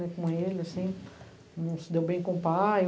Com ele assim. Não se deu bem com o pai.